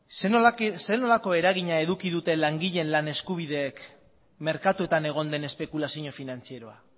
zer nolako eragina eduki duten langileen lan eskubideek merkatuetan egon den espekulazio finantzieroa